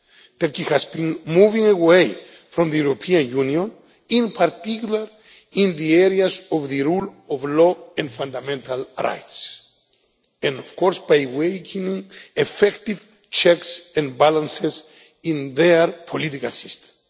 Turkey has been moving away from the European Union, in particular in the areas of the rule of law and fundamental rights, and by weakening effective checks and balances in their political system.